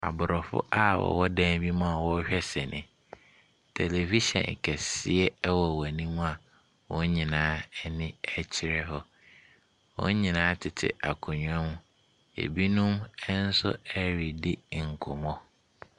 Abrɔfo a ɔwɔ dan bi mu a ɔrehwɛ sini. Television kɛseɛ ɛwɔ wɔn ɛnim a wɔn nyinaa ɛni ɛkyerɛ hɔ. Wɔn nyinaa tete akonwa mu. Ebinom ɛnso ɛredi nkɔmɔ.